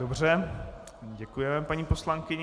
Dobře, děkujeme paní poslankyni.